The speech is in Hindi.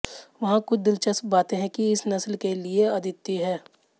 वहाँ कुछ दिलचस्प बातें है कि इस नस्ल के लिए अद्वितीय हैं